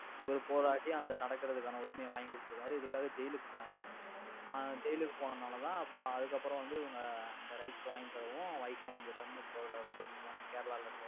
இவரு போராடி அந்த நடக்கிறதுக்கான உரிமையை வாங்கி கொடுத்துருக்காரு. இதுக்காக ஜெயிலுக்கு போனாரு. அஹ் ஜெயிலுக்கு போனனாலதான், இப்ப அதுக்கப்புறம் வந்து, இவங்க இந்த rights வாங்கித்தருவும் வைக்கம் வீரர்னு போட~ போட்டு இருக்காங்க. கேரளால இருக்கவங்க.